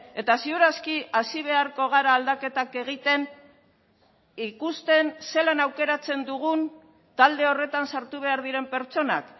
eta ziur aski hasi beharko gara aldaketak egiten ikusten zelan aukeratzen dugun talde horretan sartu behar diren pertsonak